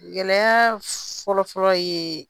Gɛlɛya fɔlɔ fɔlɔ ye